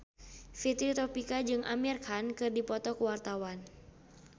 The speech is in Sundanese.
Fitri Tropika jeung Amir Khan keur dipoto ku wartawan